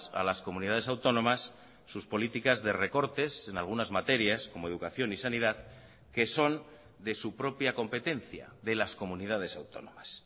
a las comunidades autónomas sus políticas de recortes en algunas materias como educación y sanidad que son de su propia competencia de las comunidades autónomas